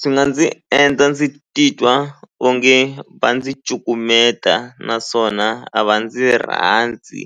Swi nga ndzi endla ndzi titwa onge va ndzi cukumeta naswona a va ndzi rhandzi